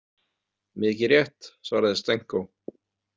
Mikið rétt, svaraði Stenko.